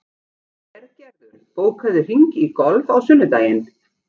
Hergerður, bókaðu hring í golf á sunnudaginn.